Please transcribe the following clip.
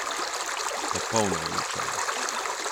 Popolno uničenje.